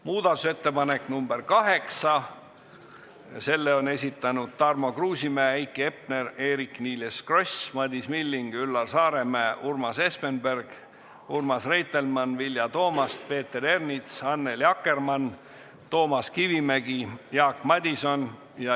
Muudatusettepanek nr 8, selle on esitanud Tarmo Kruusimäe, Heiki Hepner, Eerik-Niiles Kross, Madis Milling, Üllar Saaremäe, Urmas Espenberg, Urmas Reitelmann, Vilja Toomast, Peeter Ernits, Annely Akkermann, Toomas Kivimägi ja Jaak Madison.